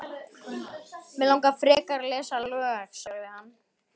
Mig langar frekar að lesa lög, sagði hann.